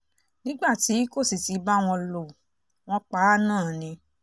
nígbà tí kò sì ti bá wọn lò wọ́n pa á náà ni